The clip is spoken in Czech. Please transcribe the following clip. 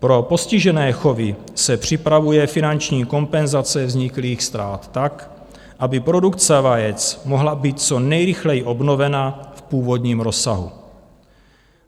Pro postižené chovy se připravuje finanční kompenzace vzniklých ztrát tak, aby produkce vajec mohla být co nejrychleji obnovena v původním rozsahu.